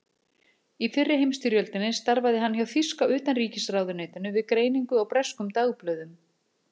Í fyrri heimsstyrjöldinni starfaði hann hjá þýska utanríkisráðuneytinu við greiningu á breskum dagblöðum.